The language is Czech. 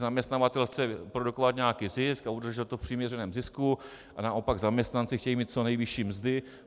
Zaměstnavatel chce produkovat nějaký zisk a udržet firmu v přiměřeném zisku a naopak zaměstnanci chtějí mít co nejvyšší mzdy.